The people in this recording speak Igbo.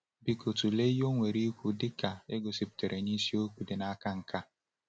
Biko tụlee ihe o nwere ikwu dị ka e gosipụtara na isiokwu dị n’aka nke a.